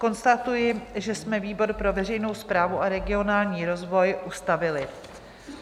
Konstatuji, že jsme výbor pro veřejnou správu a regionální rozvoj ustavili.